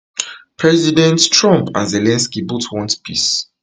presidents trump and zelensky both want peace